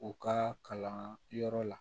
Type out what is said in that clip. U ka kalan yɔrɔ la